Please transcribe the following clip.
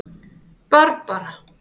Barbara